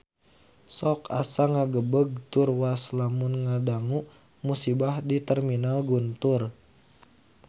Sok asa ngagebeg tur waas lamun ngadangu musibah di Terminal Guntur